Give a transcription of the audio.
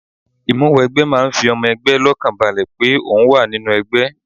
Ìmúwẹgbẹ́ máa ń fi ọmọ ẹgbẹ́ lọ́kànbalẹ̀ pé ohun wa nínú ẹgbẹ́